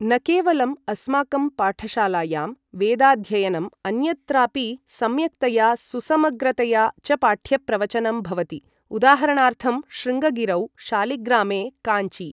न केवलम् अस्माकं पाठशालायां वेदाध्ययनम् अन्यत्रापि सम्यक्तया सुसमग्रतया च पाठ्यप्रवचनं भवति उदाहरणार्थं शृङ्गगिरौ शालिग्रामे काञ्चि ।